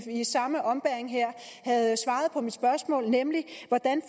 i samme ombæring havde svaret på mit spørgsmål nemlig hvordan